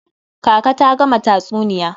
Kaka ta gama tatsuniya.